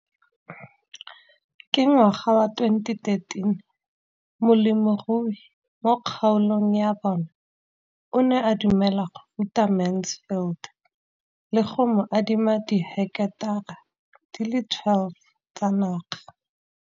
Ka ngwaga wa 2013, molemirui mo kgaolong ya bona o ne a dumela go ruta Mansfield le go mo adima di heketara di le 12 tsa naga.